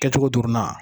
Kɛcogo dɔrɔn na